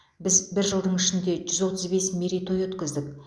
біз бір жылдың ішінде жүз отыз бес мерейтой өткіздік